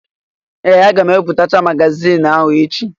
Ee! Aga m ebipụtacha magazioni ahụ echi.